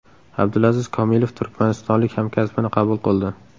Abdulaziz Komilov turkmanistonlik hamkasbini qabul qildi.